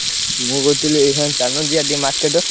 ମୁଁ କହୁଥିଲି ଏଇଖା ଚାଲୁନ ଯିବା ଟିକେ market ।